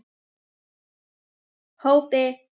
Hópi